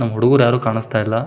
ನಮ್ ಹುಡುಗರು ಯಾರು ಕಾಣಿಸ್ತಾ ಇಲ್ಲ.